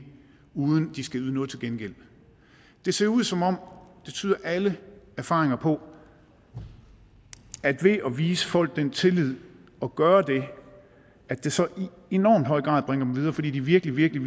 uden at de skal yde noget til gengæld det ser ud som om det tyder alle erfaringer på at ved at vise folk den tillid og gøre det at det så i enormt høj grad bringer dem videre fordi de virkelig virkelig